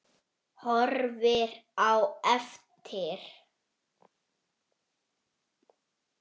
Sextán lönd taka þátt.